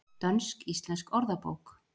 Dönsk-íslensk orðabók.